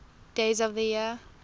days of the year